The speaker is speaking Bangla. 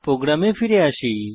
প্রোগ্রামে ফিরে আসি